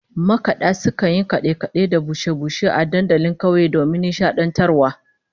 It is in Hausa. Makada sukan yi kade-kade da bushe-bushe a dandalin kauye domin nishadantarwa